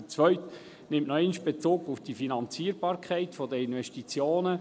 Der zweite nimmt noch einmal Bezug auf die Finanzierbarkeit der Investitionen.